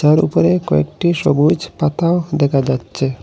তার উপরে কয়েকটি সবুজ পাতাও দেখা যাচ্ছে।